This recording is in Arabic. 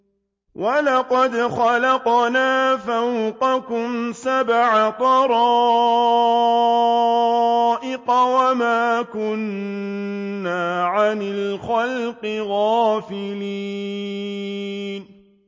وَلَقَدْ خَلَقْنَا فَوْقَكُمْ سَبْعَ طَرَائِقَ وَمَا كُنَّا عَنِ الْخَلْقِ غَافِلِينَ